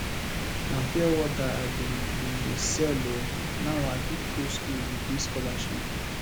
na pure wata i bin bin dey sell o now i fit go skool with dis scholarship